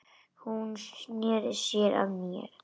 Hún sneri sér að mér.